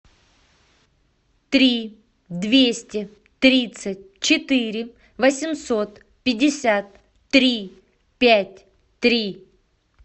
три двести тридцать четыре восемьсот пятьдесят три пять три